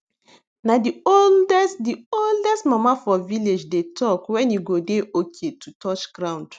na the oldest the oldest mama for village dey talk when e go dey okay to touch ground